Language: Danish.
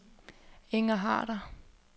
Inger Harder